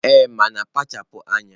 Ee, mana kpachara anya.